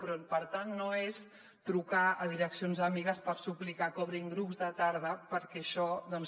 però per tant no és trucar a direccions amigues per suplir i que obrin grups de tarda perquè això doncs